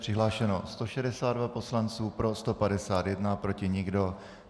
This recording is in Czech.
Přihlášeno 162 poslanců, pro 151, proti nikdo.